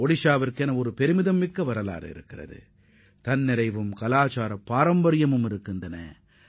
ஒடிஷா மாநிலம் மிகச்சிறந்த வரலாற்றுப் பின்னணியைக் கொண்டதோடு மட்டுமின்றி கலாச்சார பாரம்பரியமும் மிகுந்த மாநிலமாகும்